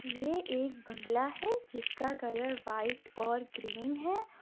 यह एक बंगला है जिसका कलर व्हाइट और ग्रीन है।